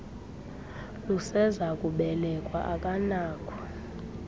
luseza kubelekwa akanakho